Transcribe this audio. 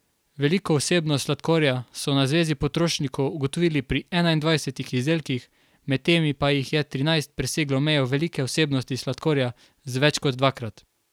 Veliko vsebnost sladkorja so na zvezi potrošnikov ugotovili pri enaindvajsetih izdelkih, med temi pa jih je trinajst preseglo mejo velike vsebnosti sladkorja za več kot dvakrat.